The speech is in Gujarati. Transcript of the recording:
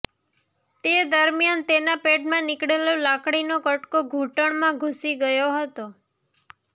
તે દરમિયાન તેના પેડમાં નીકળેલો લાકડીનો કટકો ઘૂંટણમાં ઘુસી ગયો હતો